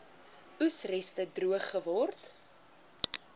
oesreste droog geword